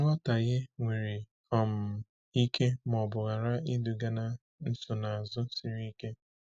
Nghọtahie nwere um ike ma ọ bụ ghara iduga na nsonaazụ siri ike.